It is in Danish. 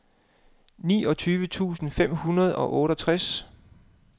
niogtyve tusind fem hundrede og otteogtres